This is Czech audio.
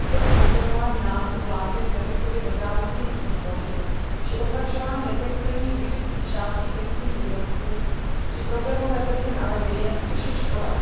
pokud jde o kombinování názvů vláken s jazykově nezávislými symboly či označování netextilních zvířecích částí textilních výrobků či problémové testy na alergie, což je škoda.